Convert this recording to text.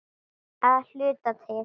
Að hluta til.